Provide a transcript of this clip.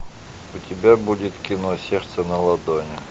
у тебя будет кино сердце на ладони